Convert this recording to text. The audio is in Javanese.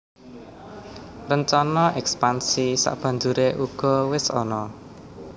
Rencana èkspansi sabanjuré uga wis ana